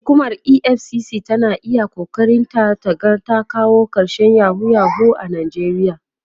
hukumar EFCC tana iya ƙoƙarin ta ta ga ta kawo karshen yahoo yahoo a nijeriya